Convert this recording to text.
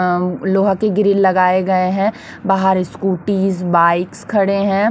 अं लोहा के ग्रिल लगाए गए हैं बाहर स्कूटीज बाइक्स खड़े हैं।